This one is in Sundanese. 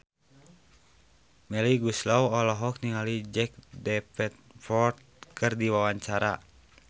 Melly Goeslaw olohok ningali Jack Davenport keur diwawancara